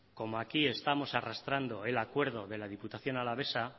como aquí estamos arrastrando el acuerdo de la diputación alavesa